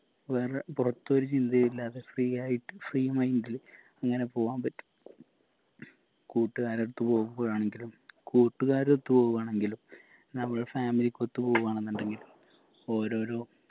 വേറെ പുറത്തൊരു ചിന്തയില്ലാതെ free ആയിട്ട് free mind ല് ഇങ്ങനെ പോവാൻ പറ്റും കൂട്ടുകാരെടുത്ത് പോവുമ്പോഴാണെങ്കിലും കൂട്ടുകാരൊത്ത് പോവുമ്പോഴാണെങ്കിലും നമ്മളെ family ക്കൊത്ത് പോവു ആണെന്നുണ്ടെങ്കിലും ഓരോരോ